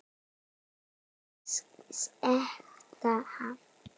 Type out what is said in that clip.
Mun ég sekta hann?